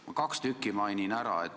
Ma kaks tükki mainin ära.